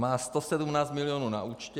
Má 117 milionů na účtě.